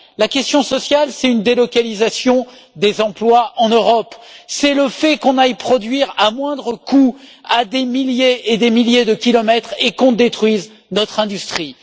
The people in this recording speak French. La question sociale, c'est la délocalisation des emplois en Europe, c'est le fait que l'on aille produire à moindre coût à des milliers et des milliers de kilomètres et que l'on détruise notre industrie.